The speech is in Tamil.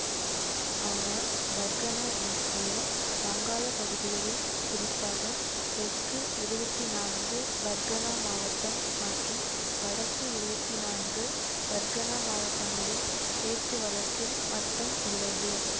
ஆனால் பர்கனா என்ற பெயர் வங்காள பகுதிகளில் குறிப்பாக தெற்கு இருவத்தி நான்கு பர்கனா மாவட்டம் மற்றும் வடக்கு இருவத்தி நான்கு பர்கனா மாவட்டங்களில் பேச்சு வழக்கில் மட்டும் உள்ளது